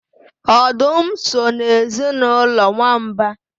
Ọdụm so n'ezinụlọ nwamba